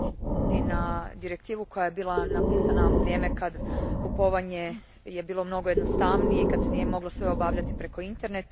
na direktivu koja je napisana u vrijeme kad je kupovanje bilo mnogo jednostavnije i kad se nije moglo sve obavljati preko interneta.